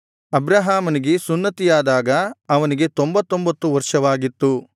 ಅಬ್ರಹಾಮನಿಗೆ ಸುನ್ನತಿಯಾದಾಗ ಅವನಿಗೆ ತೊಂಭತ್ತೊಂಭತ್ತು ವರ್ಷವಾಗಿತ್ತು